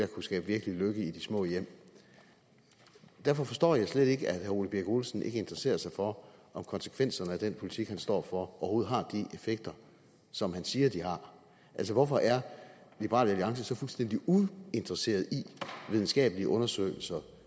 kunne skabe virkelig lykke i de små hjem derfor forstår jeg slet ikke at herre ole birk olesen ikke interesserer sig for om konsekvenserne af den politik han står for overhovedet har de effekter som han siger det har altså hvorfor er liberal alliance så fuldstændig uinteresseret i videnskabelige undersøgelser